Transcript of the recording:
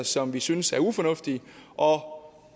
som vi synes er ufornuftige og